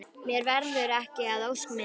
Mér verður ekki að ósk minni.